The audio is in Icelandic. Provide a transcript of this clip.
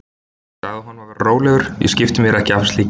Ég sagði honum að vera rólegur, ég skipti mér ekki af slíku.